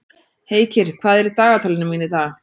Heikir, hvað er í dagatalinu mínu í dag?